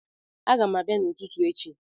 Agam abia n'ututu echi